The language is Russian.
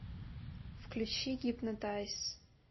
включи гипнотайз